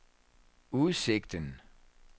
udsigten